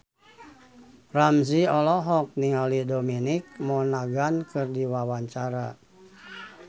Ramzy olohok ningali Dominic Monaghan keur diwawancara